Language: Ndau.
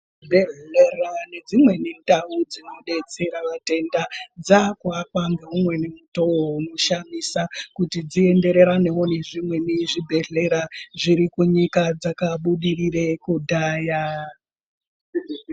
Zvibhedhlera nedzimweni ndau dzinodetsera vatenda, dzaakuakwa ngeumweni mutoo unoshamisa, kuti dziendereranewo nezvimweni zvibhedhlera zviri kunyika dzakabudirire kudhaya.